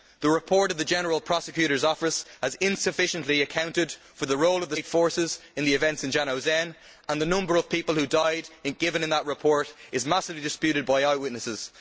The report of the general prosecutor's office has insufficiently accounted for the role of the state forces in the events in Zhanaozen, and the number of people who died according to that report is massively disputed by eyewitnesses.